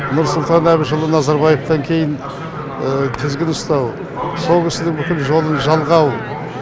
нұрсұлтан әбішұлы назарбаевтан кейін тізгін ұстау сол кісінің бүкіл жолын жалғау